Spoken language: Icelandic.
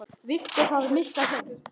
Þó ekki um of segir Gerður.